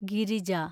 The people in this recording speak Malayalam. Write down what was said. ഗിരിജ